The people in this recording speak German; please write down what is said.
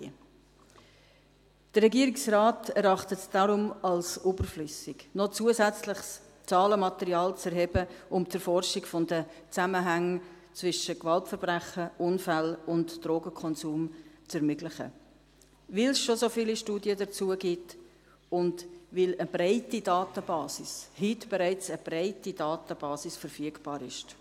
Der Regierungsrat erachtet es darum als überflüssig, noch zusätzliches Zahlenmaterial zu erheben und die Erforschung der Zusammenhänge zwischen Gewaltverbrechen, Unfällen und Drogenkonsum zu ermöglichen, weil es schon so viele Studien dazu gibt und weil eine breite Datenbasis – heute bereits eine breite Datenbasis – verfügbar ist.